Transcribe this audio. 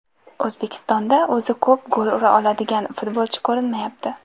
O‘zbekistonda o‘zi ko‘p gol ura oladigan futbolchi ko‘rinmayapti.